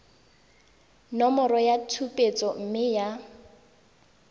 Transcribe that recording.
nomoro ya tshupetso mme ya